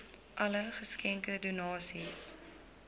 alle geskenke donasies